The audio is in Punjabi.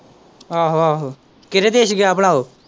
ਆਹੋ-ਆਹੋ ਕਿਹੜੇ ਦੇਸ਼ ਗਿਆ ਭਲਾ ਓ।